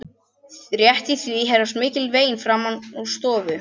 Rétt í því heyrast mikil vein framan úr stofu.